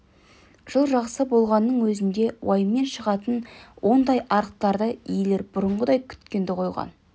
жыл жақсы болғанның өзінде уайыммен шығатын ондай арықтарды иелері бұрынғыдай күткенді қойған